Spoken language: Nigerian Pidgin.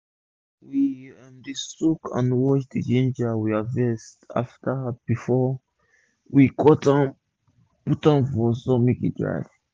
we um dey soak and wash d ginger wey we harvest first before we cut am put am for sun make e dry um